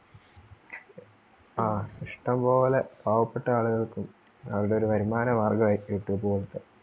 ആ ഇഷ്ടംപോലെ പാവപ്പെട്ട ആളുകൾക്കും അവരുടെ ഒരു വരുമാന മാർഗം ആയി youtube പോലത്തെ